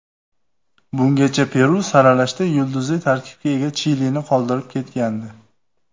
Bungacha Peru saralashda yulduzli tarkibga ega Chilini qoldirib ketgandi.